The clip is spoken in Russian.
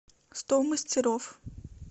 сто мастеров